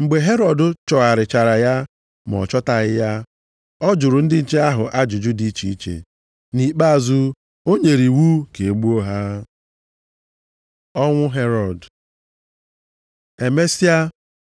Mgbe Herọd chọgharịchara ya ma ọ chọtaghị ya, ọ jụrụ ndị nche ahụ ajụjụ dị iche iche. Nʼikpeazụ ọ nyere iwu ka e gbuo ha. Ọnwụ Herọd Emesịa